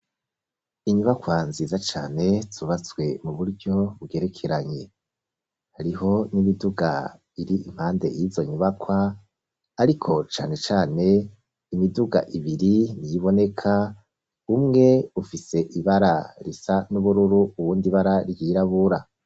Inyubakwa nziza cane, zubatswe mu buryo bugerekeranye; hariho n'imiduga, iri impande y'izo nyubakwa, ariko cane cane, imiduga ibiri niyo iboneka; umwe ufise ibara risa n'ubururu, uwundi ibara ryirabura.